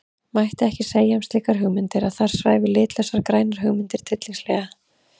Mætti ekki segja um slíkar hugmyndir að þar svæfu litlausar grænar hugmyndir tryllingslega?